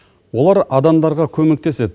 олар адамдарға көмектеседі